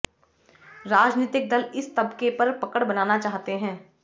राजनीतिक दल इस तबके पर पकड़ बनाना चाहते हैं